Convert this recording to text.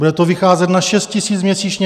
Bude to vycházet na 6 000 měsíčně.